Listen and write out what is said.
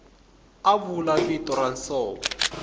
a vula vito ra nsovo